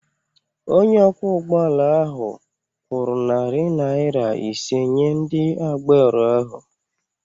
Onye ọkwọ ụgbọ ala ahụ kwụrụ narị naira ise nye ndị agbero ahụ.